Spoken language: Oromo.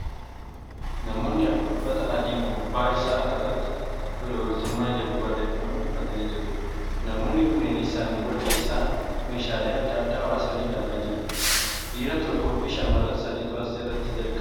Namoonni afur uffata adii gubbaa isaa irratti tola ooltummaa jedhu barreeffame uffatanii jiru. Namoonni kunneenis sanduuqa keessaa meeshaalee adda addaa baasanii ilaalaa jiru. Dhiira tokkoo fi shamarran sadiitu as irratti argama.